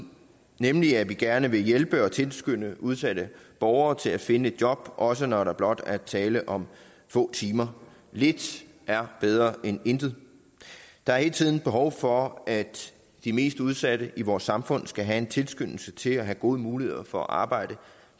nemlig at vi gerne vil hjælpe og tilskynde udsatte borgere til at finde et job også når der blot er tale om få timer lidt er bedre end intet der er hele tiden behov for at de mest udsatte i vores samfund skal have en tilskyndelse til og have gode muligheder for at arbejde